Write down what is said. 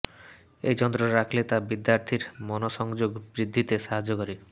এই যন্ত্র রাখলে তা বিদ্যার্থীর মনসংযোগ বৃদ্ধিতে সাহায্য করে